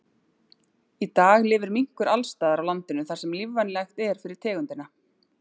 Í dag lifir minkur alls staðar á landinu þar sem lífvænlegt er fyrir tegundina.